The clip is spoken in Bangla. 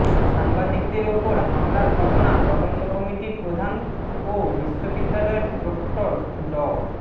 সাংবাদিকদের ওপর হামলার ঘটনা তদন্ত কমিটির প্রধান ও বিশ্ববিদ্যালয়ের প্রক্টর ড